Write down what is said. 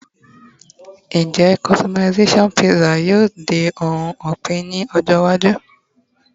njé customization pizza yíò di oun opin ní ọjọ iwaju